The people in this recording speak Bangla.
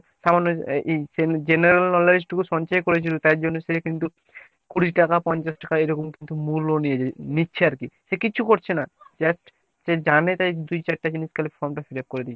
সামান্য এই এই general knowledge টুকু সঞ্চয় করে তাই জন্য সে কিন্তু কুড়ি টাকা পঞ্চাশ টাকা এরকম কিন্তু মূল্য নিয়ে নিচ্ছে আরকি। সে কিছু করছে না দেখ সে জানে তাই দুই চারটা জিনিস তাই form টা fill-up করে দিচ্ছে।